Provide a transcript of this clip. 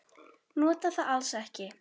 Nota það alls ekki.